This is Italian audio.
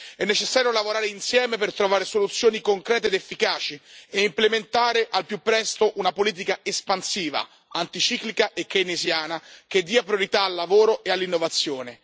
È necessario lavorare insieme per trovare soluzioni concrete ed efficaci e implementare al più presto una politica espansiva, anticiclica e keynesiana che dia priorità al lavoro e all'innovazione.